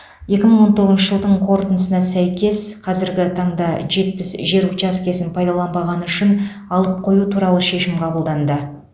екі мың он тоғызыншы жылдың қорытындысына сәйкес қазіргі таңда жетпіс жер учаскесін пайдаланбағаны үшін алып қою туралы шешім қаблданды